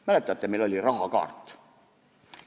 Mäletate, meil oli rahakaart.